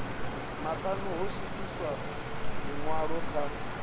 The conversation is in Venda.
maṱanu ho swikiswa ḽiṅwalo kha